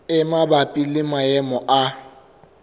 e mabapi le maemo a